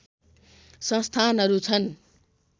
संस्थानहरू छन्